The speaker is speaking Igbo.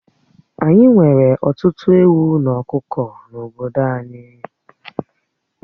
Ányi nwere ọtụtụ ewu na ọkụkọ n'obodo anyị